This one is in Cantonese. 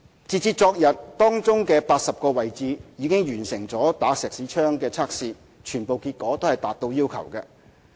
截至昨天，當中80個位置已完成"打石屎槍"測試，全部結果達到要求。